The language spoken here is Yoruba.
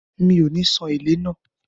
Mi ò ní san “èlé” náà.